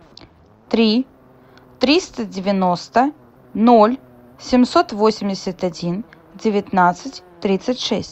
три триста девяносто ноль семьсот восемьдесят один девятнадцать тридцать шесть